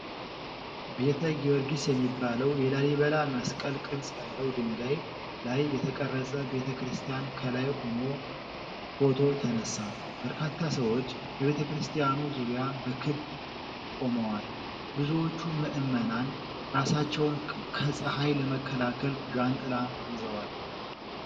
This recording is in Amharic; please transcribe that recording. ቤተ ጊዮርጊስ የሚባለው የላሊበላ መስቀል ቅርጽ ያለው ድንጋይ ላይ የተቀረጸ ቤተክርስቲያን ከላይ ሆኖ ፎቶ ተነሳ። በርካታ ሰዎች በቤተክርስቲያኑ ዙሪያ በክብ ቆመዋል። ብዙዎቹ ምዕመናን ራሳቸውን ከፀሐይ ለመከላከል ዣንጥላ ይዘዋል።